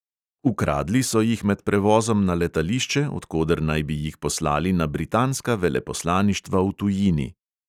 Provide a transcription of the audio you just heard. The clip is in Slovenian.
Ukradli so jih med prevozom na letališče, od koder naj bi jih poslali na britanska veleposlaništva v tujini.